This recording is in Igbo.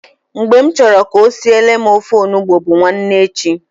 Mgbe m chọrọ ka o siele m ofe ọgbọnọ bu nwanne echi.